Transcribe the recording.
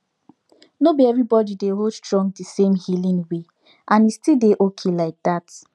nor be everybody dey hold strong the same healing way and e still dey okay like that